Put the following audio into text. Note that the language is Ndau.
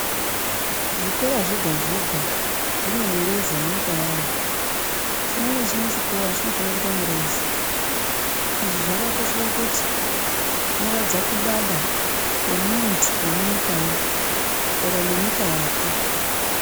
Zvikora zvega zvega zvine mureza yenyika yayo. Chimwe nechimwe chikora chinofana kuita mureza. Izvi zvakakoshera pakuti zvinoratidza kudada kwemuntu wemunyikayo kudada nenyika yake.